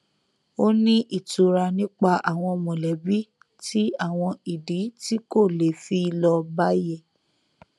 ó ní ìtura nípa àwọn mọlẹbí tí àwọn ìdí tí kò le fi lọ bá yé